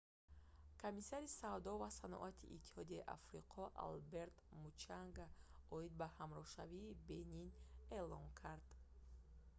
комиссари савдо ва саноати иттиҳодияи африқо алберт мучанга оид ба ҳамроҳшавии бенин эълон кард